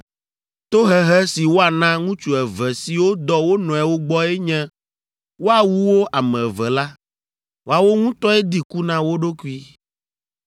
“ ‘Tohehe si woana ŋutsu eve siwo dɔ wo nɔewo gbɔe nye woawu wo ame eve la. Woawo ŋutɔe di ku na wo ɖokui.